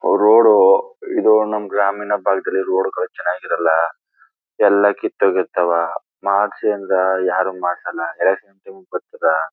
ಅವರವರು ಇದು ನಮ್ ಗ್ರಾಮೀಣ ಪಾರ್ಕ್ ಅಲ್ಲಿ ಇರುವರು ಚನ್ನಾಗಿ ಇರೋಲ್ಲ ಎಲ್ಲ ಕಿತ್ತಿಹೋಗಿರ್ತಾವ ಮಾಡ್ಸಿ ಅಂದ್ರ ಯಾರು ಮಾಡ್ಸಲ್ಲ .]